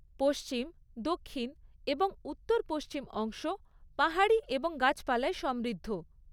পশ্চিম, দক্ষিণ এবং উত্তর পশ্চিম অংশ পাহাড়ী এবং গাছপালায় সমৃদ্ধ।